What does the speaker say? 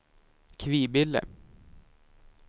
Kvibille